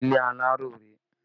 Ilé aláró rèé